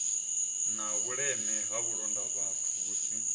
na vhuleme ha vhulondavhathu vhusi